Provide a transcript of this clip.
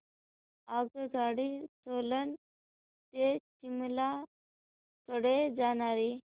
आगगाडी सोलन ते शिमला कडे जाणारी